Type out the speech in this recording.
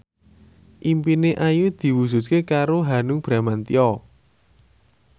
impine Ayu diwujudke karo Hanung Bramantyo